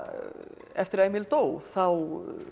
eftir að Emil dó þá